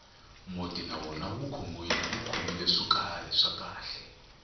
muti na wona wu khomile swo karhi swa khale